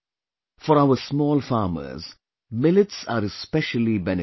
For our small farmers, millets are especially beneficial